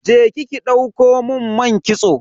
Je ki ki ɗauko mun man kitso.